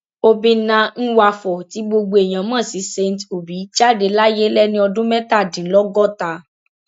obìnnà nwafor tí gbogbo èèyàn mọ sí saint obi jáde láyé lẹni ọdún mẹtàdínlọgọta